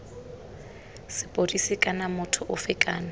sepodisi kana motho ofe kana